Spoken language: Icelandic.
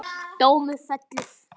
Dómur fellur